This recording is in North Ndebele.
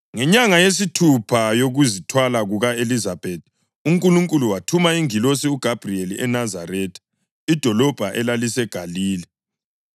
Ngenyanga yesithupha yokuzithwala kuka-Elizabethi, uNkulunkulu wathuma ingilosi uGabhuriyeli eNazaretha, idolobho elaliseGalile,